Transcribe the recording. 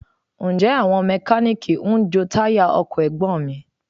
Ǹjẹ́ àwọn Mẹkáníìkì ń jo táyà ọkọ̀ Ẹ̀gbọ́n mi?